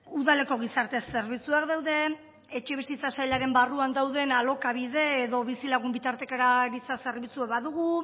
udaleko gizarte zerbitzuak daude etxebizitza sailaren barruan dauden alokabide edo bizilagun bitartekaritza zerbitzuak badugu